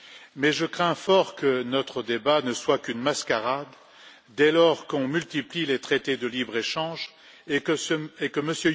Mais je crains fort que notre débat ne soit qu'une mascarade dès lors qu'on multiplie les traités de libre échange et que M.